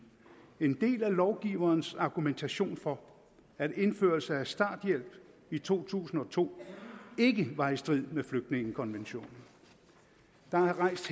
en del af lovgiverens argumentation for at indførelse af starthjælp i to tusind og to ikke var i strid med flygtningekonventionen der er her rejst